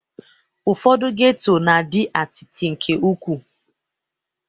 Ụfọdụ geto na-adị atịtị nke ukwu